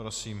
Prosím.